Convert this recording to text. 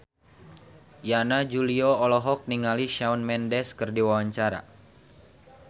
Yana Julio olohok ningali Shawn Mendes keur diwawancara